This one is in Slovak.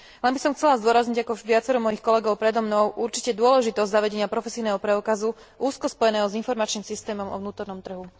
Pritom by som určite chcela zdôrazniť, ako už viacero mojich kolegov predo mnou, dôležitosť zavedenia profesijného preukazu úzko spojeného s informačným systémom o vnútornom trhu.